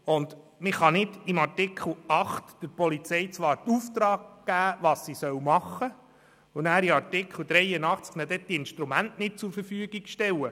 Man kann nicht in Artikel 8 der Polizei den Auftrag geben und sagen, was sie machen soll, ihr dann aber in Artikel 83 nicht die Instrumente dazu zur Verfügung stellen.